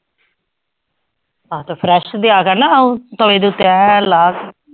ਹਾਂ ਤਾਂ fresh ਦਿਆ ਕਰ ਨਾ ਉਹ ਤਵੇ ਦੇ ਉੱਤੇ ਐਂ ਲਾ।